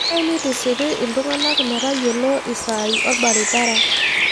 Kenare nitisipi iltung'anak ,metayiolo esai orbaribara